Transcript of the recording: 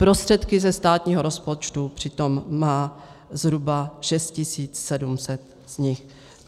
Prostředky ze státního rozpočtu přitom má zhruba 6 700 z nich.